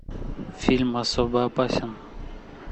фильм особо опасен